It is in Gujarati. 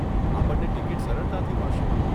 આપણને ટિકીટ સરળતાથી મળશે.